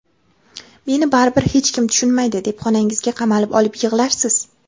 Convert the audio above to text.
"Meni baribir hech kim tushunmaydi" deb xonangizga qamalib olib yig‘larsiz.